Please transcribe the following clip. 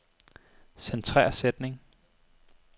Centrer sætning.